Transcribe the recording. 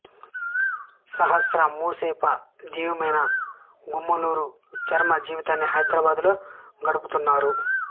సహస్ర మాసొప జీవియైన గుమ్మలూరు చరమ జీవితాన్ని హైదరాబాదులో గడుపుతున్నారు